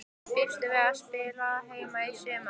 Býstu við að spila heima í sumar?